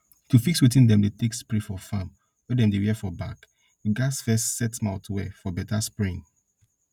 to fix wetin dem dey take dey spray for farm wey dem dey wear for back e gats first set mouth well for beta spraying